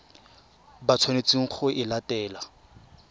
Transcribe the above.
ba tshwanetseng go e latela